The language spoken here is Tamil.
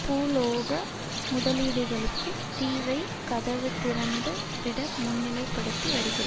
பூகோள முதலீடுகளுக்கு தீவைக் கதவு திறந்து விட முன்னிலைப்படுத்தி வருகிறது